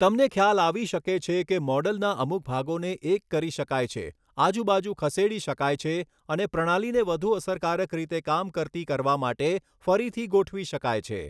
તમને ખ્યાલ આવી શકે છે કે મૉડલના અમુક ભાગોને એક કરી શકાય છે, આજુબાજુ ખસેડી શકાય છે અને પ્રણાલીને વધુ અસરકારક રીતે કામ કરતી કરવા માટે ફરીથી ગોઠવી શકાય છે.